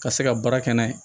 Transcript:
Ka se ka baara kɛ n'a ye